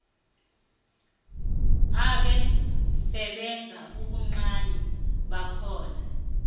esebenza ubuncani bakhona